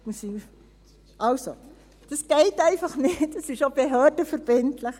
Kurz: Das geht einfach nicht, das ist auch behördenverbindlich.